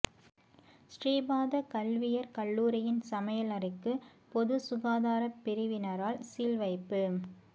ஸ்ரீபாத கல்வியற் கல்லூரியின் சமையல் அறைக்கு பொது சுகாதார பிரிவினரால் சீல் வைப்பு